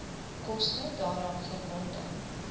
koste daaraan verbonde